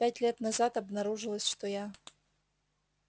пять лет назад обнаружилось что я